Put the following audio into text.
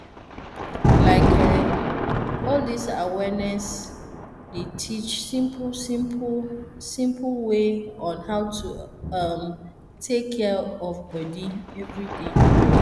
like eh all dis awareness dey teach simple simple simple way on how to um take care of body everyday